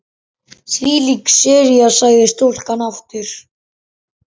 Þvílík sería sagði stúlkan aftur.